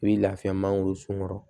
I bi lafiya mangoro sun kɔrɔ